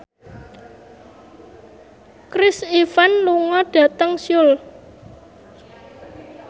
Chris Evans lunga dhateng Seoul